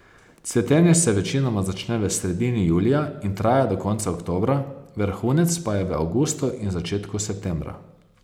Cvetenje se večinoma začne v sredini julija in traja do konca oktobra, vrhunec pa je v avgustu in začetku septembra.